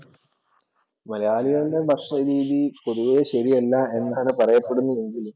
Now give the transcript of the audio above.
മലയാളികളുടെ ഭക്ഷണ രീതി പൊതുവെ ശരിയല്ല എന്നാണ് പറയപ്പെടുന്നതെങ്കിലും